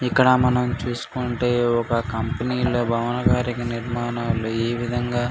ఇక్కడ మనం చూస్కుంటే ఒక కంపెనీ లో భావన కారి నిర్మాణం ఈవిధం గా --